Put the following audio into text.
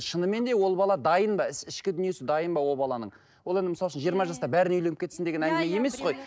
шынымен де ол бала дайын ба ішкі дүниесі дайын ба ол баланың ол енді мысалы үшін жиырма жаста бәрі үйленіп кетсін деген әңгіме емес қой